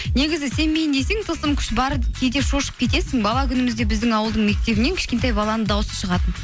негізі сенбейін десең тылсым күш бар кейде шошып кетесің бала күнімізде біздің ауылдың мектебінен кішкентай баланың дауысы шығатын